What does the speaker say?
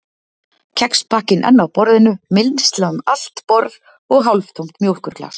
Kexpakkinn enn á borðinu, mylsna um allt borð, og hálftómt mjólkurglas.